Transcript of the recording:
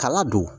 Kala don